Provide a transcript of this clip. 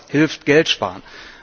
Auch das hilft, Geld zu sparen.